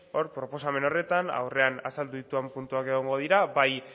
proposamen horretan aurrean azaldu ditudan puntuak egongo dira bai